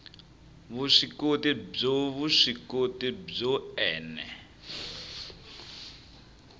vuswikoti byo vuswikoti byo ene